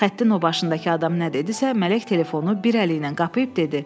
Xəttin o başındakı adam nə dedisə, Mələk telefonu bir əliylə qapayıb dedi: